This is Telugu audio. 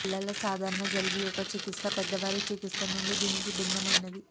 పిల్లల సాధారణ జలుబు యొక్క చికిత్స పెద్దవారి చికిత్స నుండి దీనికి భిన్నమైనది